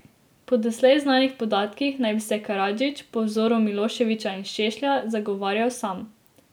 Po doslej znanih podatkih naj bi se Karadžić, po vzoru Miloševića in Šešlja, zagovarjal sam.